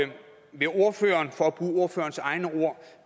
vil ordføreren for at bruge ordførerens egne ord